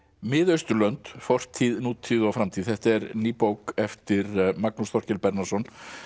mið Austurlönd fortíð nútíð og framtíð þetta er ný bók eftir Magnús Þorkel Bernharðsson